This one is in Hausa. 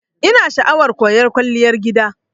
Ina sha'awar koyan Kwalliyar gida.